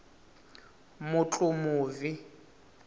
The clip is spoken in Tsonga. mutlumuvi